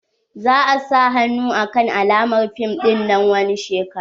za'a sa hannu akan almara fim dinnan wani shekara.